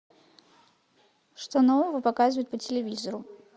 что нового показывают по телевизору